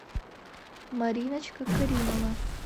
мариночка каримова